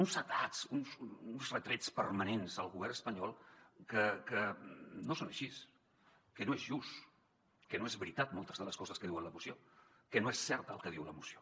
uns atacs uns retrets permanents al govern espanyol que no són així que no és just que no són veritat moltes de les coses que diu la moció que no és cert el que diu la moció